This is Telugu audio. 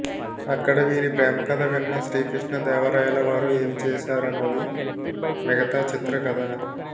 అక్కడ వీరి ప్రేమకథ విన్న శ్రీ కృష్ణ దేవరాయల వారు ఏం చేశారన్నది మిగతా చిత్ర కథ